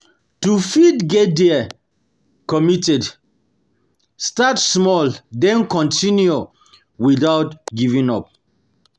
To fit get dey committed, start small then continue without giving up